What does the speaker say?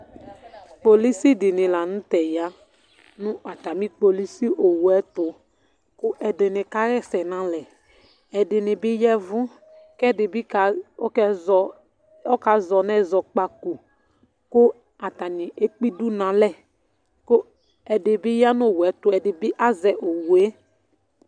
kpolusī dini la n'tɛ ya nu atami kpolusĩ owue ayi ɛtu, ku ɛdini ka hɛsɛ n'alɛ, ɛdini bi yavù k'ɛdi bi ka azɔ nu ɛzɔkpako, ku atani ekpe idú n'alɛ, ku ɛdi bi ya nu owue ɛtu, ɛdi bi azɛ owue